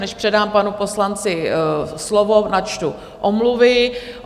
Než předám panu poslanci slovo, načtu omluvy.